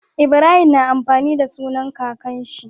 Ibrahim na amfani da sunan kakan shi